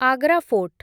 Agra fort